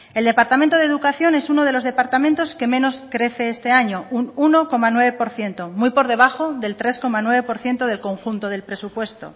el departamento de educación es uno de los departamentos que menos crece este año un uno coma nueve por ciento muy por debajo del tres coma nueve por ciento del conjunto del presupuesto